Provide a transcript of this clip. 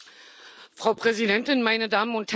Frau Präsidentin, meine Damen und Herren!